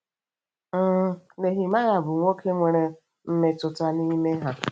um Nehemaya bụ nwoke nwere mmetụta na ime ihe.